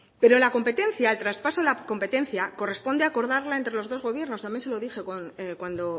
pero la competencia el traspaso de la competencia corresponde acordarla entre los dos gobiernos también se lo dije cuando